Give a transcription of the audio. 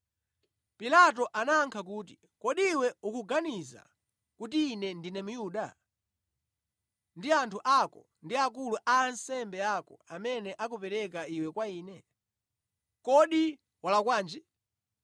Pilato anayankha kuti, “Kodi iwe ukuganiza kuti ine ndine Myuda? Ndi anthu ako ndi akulu a ansembe ako amene akupereka iwe kwa ine. Kodi walakwanji?”